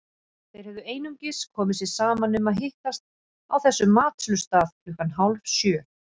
Þeir höfðu einungis komið sér saman um að hittast á þessum matsölustað klukkan hálfsjö.